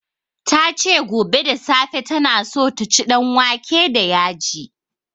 Ta ce gobe da safe ta na so ta ci danwake da yaji